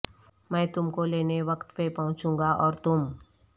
میں تم کو لینے وقت پہ پہنچوں گا اور تم